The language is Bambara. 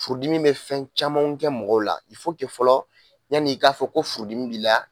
Furudimi be fɛn camanw kɛ mɔgɔw la, fɔlɔ yan'i ka fɔ ko furudimi b'i la